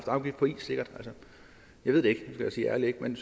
afgift på is jeg ved det helt ærligt ikke men